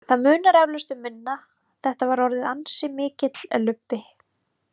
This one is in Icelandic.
Það munar eflaust um minna, þetta var orðið ansi mikill lubbi.